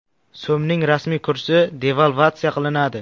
So‘mning rasmiy kursi devalvatsiya qilinadi.